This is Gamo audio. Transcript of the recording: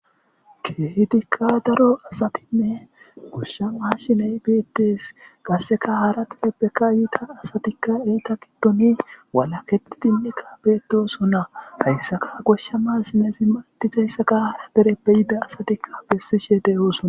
kehidikka daro asatinne goshsha mashiney beettees qasseka hara tibepbeka yiida asatikka eyta giddoni walaketidinne kaabeetoso na hayssaka goshsha mashineezi maaatizayssaka hara dere beyida asatikka bessishe deyoosona